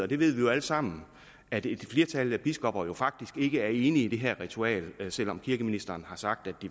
det ved vi jo alle sammen at et flertal af biskopperne faktisk ikke er enig i det her ritual selv om kirkeministeren har sagt